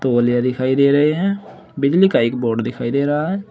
तौलिया दिखाई दे रहे है बिजली का एक बोर्ड दिखाई दे रहा है।